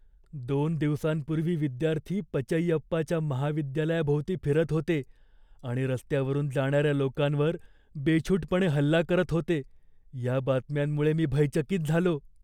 दोन दिवसांपूर्वी विद्यार्थी पचैयप्पाच्या महाविद्यालयाभोवती फिरत होते आणि रस्त्यावरुन जाणाऱ्या लोकांवर बेछूटपणे हल्ला करत होते, या बातम्यांमुळे मी भयचकित झालो.